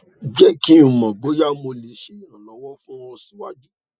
jẹ ki n mọ boya mo le ṣe iranlọwọ fun ọ siwaju